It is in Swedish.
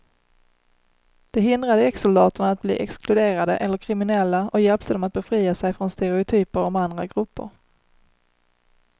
Det hindrade exsoldaterna att bli exkluderade eller kriminella och hjälpte dem att befria sig från stereotyper om andra grupper.